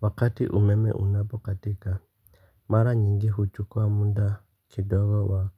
Wakati umeme unapokatika mara nyingi huchukua muda kidogo wa